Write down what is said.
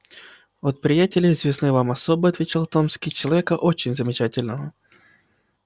от приятеля известной вам особы отвечал томский человека очень замечательного